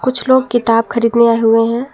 कुछ लोग किताब खरीदने आए हुए हैं।